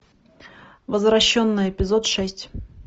возвращенная эпизод шесть